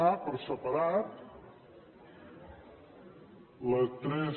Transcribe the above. a per separat la tres